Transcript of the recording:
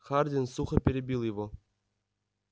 хардин сухо перебил его